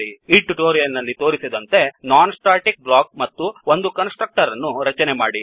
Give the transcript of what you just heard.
ಈ ಟ್ಯುಟೋರಿಯಲ್ ನಲ್ಲಿ ತೋರಿಸಿದಂತೆ non static block non static block ಮತ್ತು ಒಂದು ಕನ್ಸ್ ಟ್ರಕ್ಟರ್ ಅನ್ನು ರಚನೆ ಮಾಡಿ